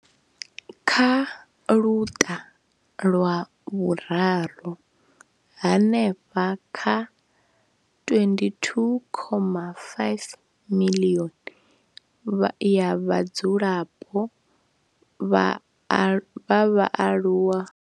Kha Luṱa lwa Vhuraru, hanefha kha 22.5 miḽioni ya vhadzulapo vha vhaaluwa.